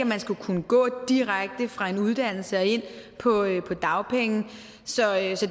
man skal kunne gå direkte fra en uddannelse og ind på dagpenge